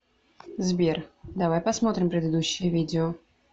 сбер давай посмотрим предыдущее видео